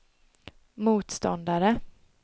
motståndare